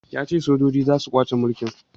Ya ce sojoji za su kwace mulki